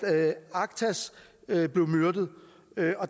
aktas blev myrdet